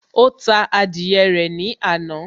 Ó ta adìyẹ rẹ̀ ní àná